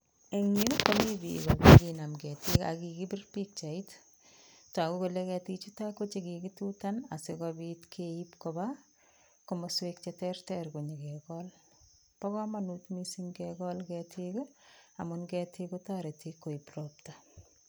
En yu komi biik che kinam ketik ak kigibir pichait. Togu kole ketik chuto ko che kigitutan asikobit keib koba komswek che tereter konyokekol. Bo komonut mising kekol ketik amun ketik kotoreti koib ropta.